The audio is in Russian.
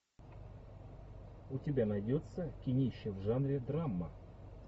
у тебя найдется кинище в жанре драма